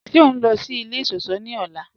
Ṣẹ o nlọ sí ilẹ̀ iṣọ̀ṣọ̀ ni ọla?